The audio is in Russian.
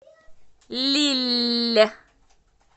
лилль